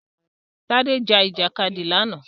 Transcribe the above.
Tádé jà Ìjàkadì lánàá